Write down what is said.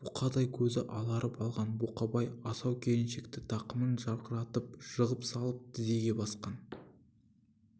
бұқадай көзі аларып алған бұқабай асау келіншекті тақымын жарқыратып жығып салып тізеге басқан